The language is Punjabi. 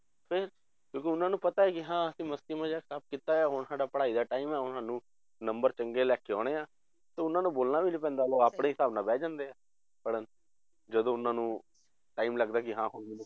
ਫਿਰ ਕਿਉਂਕਿ ਉਹਨਾਂ ਨੂੰ ਪਤਾ ਹੈ ਕਿ ਹਾਂ ਅਸੀਂ ਮਸਤੀ ਮਜਾਕ ਸਭ ਕੀਤਾ ਆ ਹੁਣ ਸਾਡਾ ਪੜ੍ਹਾਈ ਦਾ time ਆ ਹੁਣ ਸਾਨੂੰ number ਚੰਗੇ ਲੈ ਕੇ ਆਉਣੇ ਆ ਤਾਂ ਉਹਨਾਂ ਨੂੰ ਬੋਲਣਾ ਵੀ ਨੀ ਪੈਂਦਾ, ਉਹ ਆਪਣੇ ਹਿਸਾਬ ਨਾਲ ਬਹਿ ਜਾਂਦੇ ਆ ਪੜ੍ਹਣ, ਜਦੋਂ ਉਹਨਾਂ ਨੂੰ time ਲੱਗਦਾ ਕਿ ਹਾਂ ਹੁਣ ਮੈਨੂੰ